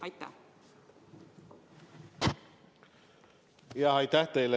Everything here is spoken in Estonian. Aitäh teile!